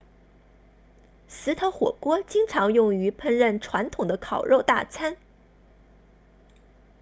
石头火锅经常用于烹饪传统的烤肉大餐